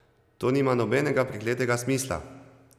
To nima nobenega prekletega smisla!